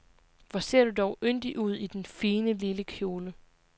Hvor ser du dog yndig ud i den fine, lille kjole.